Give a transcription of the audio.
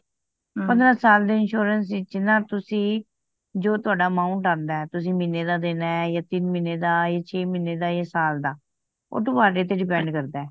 ਪੰਦਰਾਂ ਸਾਲ ਦੇ insurance ਵੀਚ ਨਾ ਤੁਸੀ ਜੋ ਤੁਹਾਡਾ amount ਆਂਦਾ ਤੁਸੀ ਮਹੀਨੇ ਦਾ ਦੇਣਾ ਯਾ ਤਿੰਨ ਮਹੀਨੇ ਦਾ ਛੇ ਮਹੀਨੇ ਦਾ ਆ ਸਾਲ ਦਾ ਉਹ ਤੂਹਾਡੇ ਤੇ depend ਕਰਦਾ